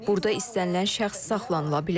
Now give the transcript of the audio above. Burda istənilən şəxs saxlanıla bilər.